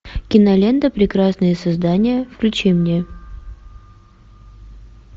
кинолента прекрасные создания включи мне